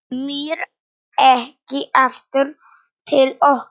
Komir ekki aftur til okkar.